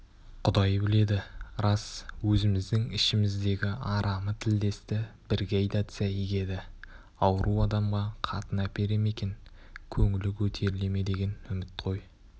құдай біледі рас өзіміздің ішіміздегі арамы тілдесті бірге айдатса игі еді ауру адамға қатын әпере ме екен көңілі көтеріле ме деген үміт қой